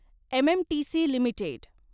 MMTC limited